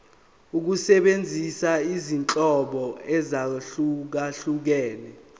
ukusebenzisa izinhlobo ezahlukehlukene